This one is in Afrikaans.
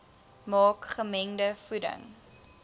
maak gemengde voeding